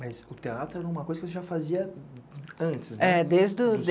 Mas o teatro era uma coisa que você já fazia antes, né? É desde o...